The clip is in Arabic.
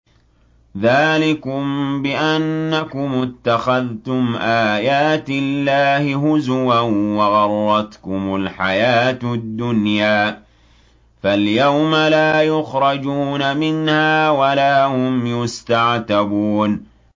ذَٰلِكُم بِأَنَّكُمُ اتَّخَذْتُمْ آيَاتِ اللَّهِ هُزُوًا وَغَرَّتْكُمُ الْحَيَاةُ الدُّنْيَا ۚ فَالْيَوْمَ لَا يُخْرَجُونَ مِنْهَا وَلَا هُمْ يُسْتَعْتَبُونَ